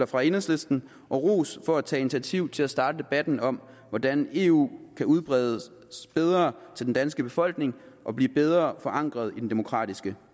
fra enhedslisten og ros for at tage initiativ til at starte debatten om hvordan eu kan udbredes bedre til den danske befolkning og blive bedre forankret i den demokratiske